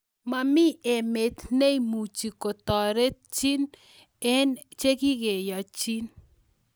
Mamii emet neimuchi koterchin eng chekikiyanchin.